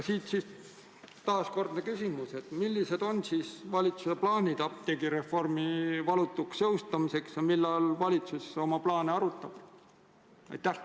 Siit taaskordne küsimus: millised on siis valitsuse plaanid apteegireformi valutuks jõustamiseks ja millal valitsus oma plaane arutab?